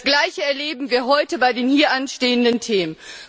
Das Gleiche erleben wir heute bei den hier anstehenden Themen.